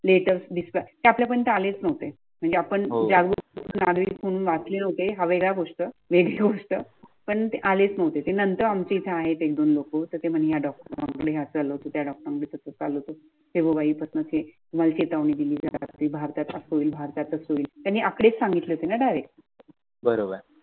बरोबर. आहे